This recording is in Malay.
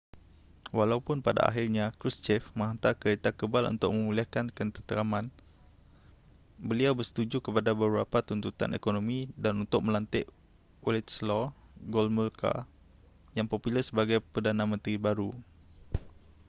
walaupun pada akhirnya krushchev menghantar kereta kebal untuk memulihkan ketenteraman beliau bersetuju kepada beberapa tuntutan ekonomi dan untuk melantik wladyslaw gomulka yang popular sebagai perdana menteri baru